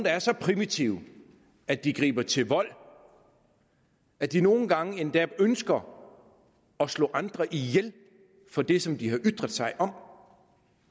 er så primitive at de griber til vold og at de nogle gange endda ønsker at slå andre ihjel for det som de har ytret sig om